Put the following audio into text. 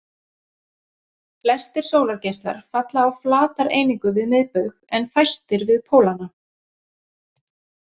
Flestir sólargeislar falla á flatareiningu við miðbaug en fæstir við pólana.